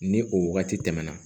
Ni o wagati tɛmɛna